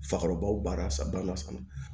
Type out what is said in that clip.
Fakɔrɔbaw baara san ba ma sa